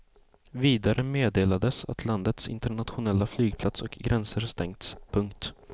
Vidare meddelades att landets internationella flygplats och gränser stängts. punkt